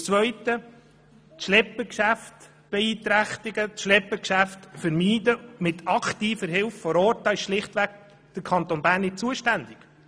Zum Zweiten: Das Schleppergeschäft zu beeinträchtigen und dieses mit aktiver Hilfe vor Ort zu vermeiden, dafür ist der Kanton Bern schlichtweg nicht zuständig.